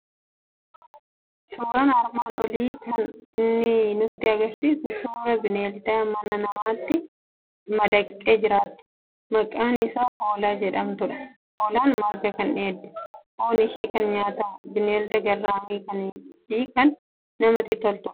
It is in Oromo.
Suuraan armaan olii kan inni nutti argisiisu suuraa bineelda manaa namatti madaqxee jiraattu, maqaan ishii hoolaa jedhamtudha. Hoolaan marga kan dheeddu, foon ishii kan nyaatamu, bineelda garraamii fi kan namatti toltudha.